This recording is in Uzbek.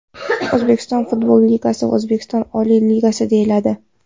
O‘zbekiston futbol ligasi O‘zbekiston oliy ligasi deyiladi.